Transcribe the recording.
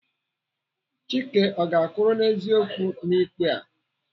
Chike ọ ga-akwụrụ n'eziokwu n'ikpe a?